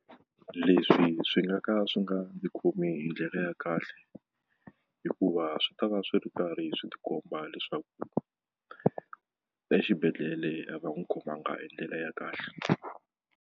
Leswi swi nga ka swi nga ndzi khomi hi ndlela ya kahle hikuva swi ta va swi ri karhi swi ti komba leswaku exibedhlele a va n'wi khomanga hi ndlela ya kahle.